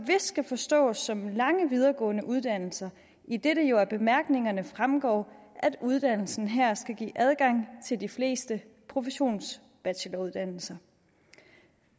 skal forstås som lange videregående uddannelser idet det jo af bemærkningerne fremgår at uddannelsen her skal give adgang til de fleste professionsbacheloruddannelser